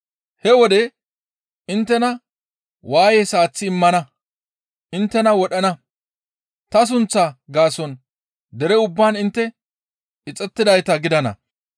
He wode inttena waayes aaththi immana; inttena wodhana; ta sunththaa gaason dere ubbaan intte ixettidayta gidana.